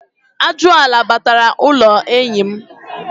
Ajụala batara n'ụlọ enyi.